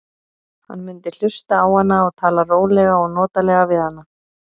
Hann mundi hlusta á hana og tala rólega og notalega við hana.